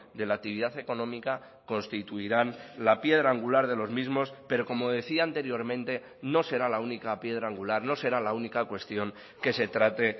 de la actividad económica constituirán la piedra angular de los mismos pero como decía anteriormente no será la única piedra angular no será la única cuestión que se trate